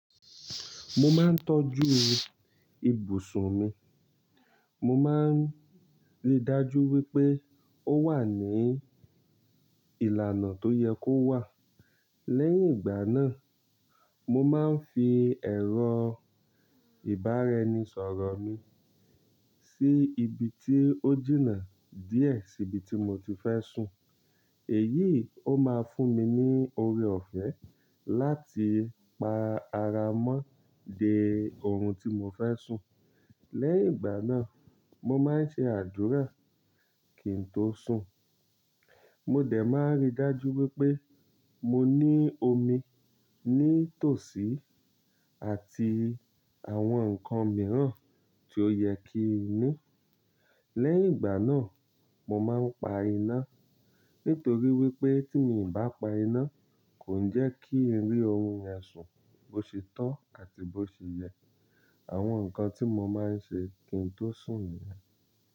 Mo máa ń tọ́jú ibùsùn mi, mo máa ń rí i dájú wípé ó wà ní ìlànà tó yẹ kó wà. Lẹ́yìn ìgbà náà, mo máa ń fi ẹ̀rọ ìbáraẹnisọ̀rọ̀ mi sí ibi tí ó jìnnà díẹ̀ sí ibi tí mo ti fẹ́ sùn. Èyí ó máa fún mi ní oore ọ̀fẹ́ láti pa ara mọ́ de orun tí mo fẹ́ sùn. Lẹ́yìn ìgbà náà, mo máa ń ṣe àdúrà kí n tó sùn. Mo dẹ̀ máa rí i dájú wípé mo ní omi ní tòsí àti àwọn ǹkan mìíràn tí ó yẹ kí n ní. Lẹ́yìn ìgbà náà, mo máa ń pa iná. Nítorí wípé tí mi ń bá pa iná kò ń jẹ́ kí n rí orun yẹn sún bó ṣe tọ àti bó ṣe yẹ. Àwọn ǹkan tí mo máa ń ṣe kí n tó sùn nìyẹn.